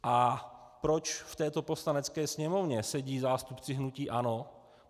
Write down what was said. A proč v této Poslanecké sněmovně sedí zástupci hnutí ANO?